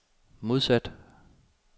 modsat